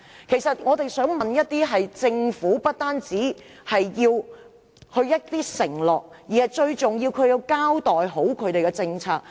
其實，我們想要的不單是政府的承諾，最重要的是希望政府交代其政策。